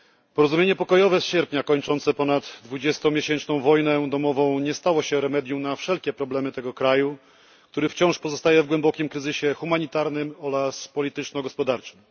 Porozumienie pokojowe z sierpnia kończące ponad dwudziestomiesięczną wojnę domową nie stało się remedium na wszelkie problemy tego kraju, który wciąż pozostaje w głębokim kryzysie humanitarnym oraz polityczno gospodarczym.